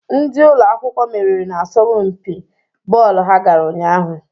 Ndị ụlọ akwụkwọ meriri n'asọmpi bọọlụ ha gara ụnyaahụ.